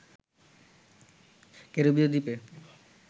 ক্যারিবীয় দ্বীপে